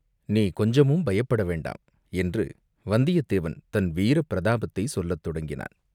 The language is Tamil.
நீ கொஞ்சமும் பயப்பட வேண்டாம்!" என்று வந்தியத்தேவன் தன் வீரப்பிரதாபத்தைச் சொல்லத் தொடங்கினான்.